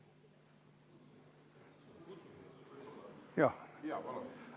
Aitäh teile!